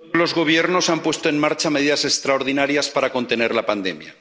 Señora presidenta, los Gobiernos han puesto en marcha medidas extraordinarias para contener la pandemia.